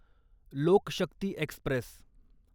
लोक शक्ती एक्स्प्रेस